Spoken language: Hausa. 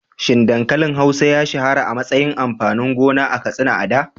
Shin dankalin hausa ya shahara a matsayin amfanin gona a Katsina a da?